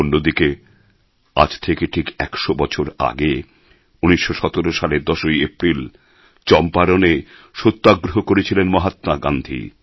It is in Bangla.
অন্যদিকে আজ থেকে ঠিক ১০০ বছর আগে ১৯১৭ সালের ১০ই এপ্রিল চম্পারণে সত্যাগ্রহ করেছিলেন মহাত্মা গান্ধী